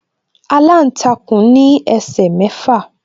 Aláǹtakùn ní ẹsẹ̀ mẹ́fà.